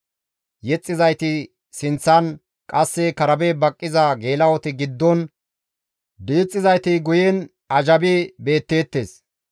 Yexxizayti sinththan, qasse karabe baqqiza geela7oti giddon, diixxizayti guyen azhabi beetteettes.